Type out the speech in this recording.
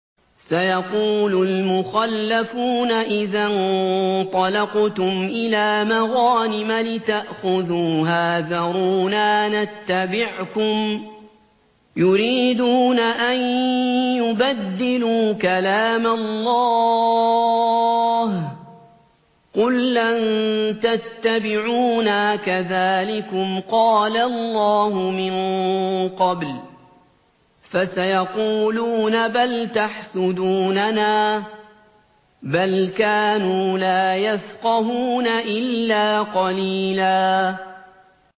سَيَقُولُ الْمُخَلَّفُونَ إِذَا انطَلَقْتُمْ إِلَىٰ مَغَانِمَ لِتَأْخُذُوهَا ذَرُونَا نَتَّبِعْكُمْ ۖ يُرِيدُونَ أَن يُبَدِّلُوا كَلَامَ اللَّهِ ۚ قُل لَّن تَتَّبِعُونَا كَذَٰلِكُمْ قَالَ اللَّهُ مِن قَبْلُ ۖ فَسَيَقُولُونَ بَلْ تَحْسُدُونَنَا ۚ بَلْ كَانُوا لَا يَفْقَهُونَ إِلَّا قَلِيلًا